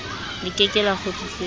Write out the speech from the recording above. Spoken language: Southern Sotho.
le ke ke la kgutlisetswa